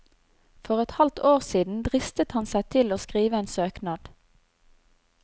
For et halvt år siden dristet han seg til å skrive en søknad.